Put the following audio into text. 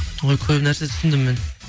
ой көп нәрсе түсіндім мен